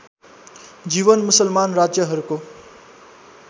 जीवन मुसलमान राज्यहरूको